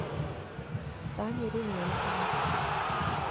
саню румянцева